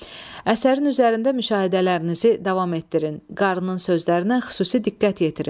Əsərin üzərində müşahidələrinizi davam etdirin, Qarının sözlərinə xüsusi diqqət yetirin.